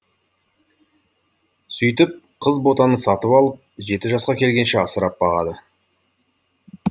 сөйтіп қыз ботаны сатып алып жеті жасқа келгенше асырап бағады